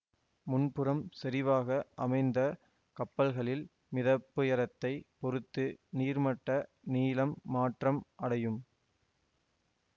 முன்புறம் சரிவாக அமைந்த கப்பல்களில் மிதப்புயரத்தைப் பொறுத்து நீர்மட்ட நீளம் மாற்றம் அடையும்